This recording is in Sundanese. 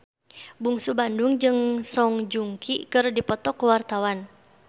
Bungsu Bandung jeung Song Joong Ki keur dipoto ku wartawan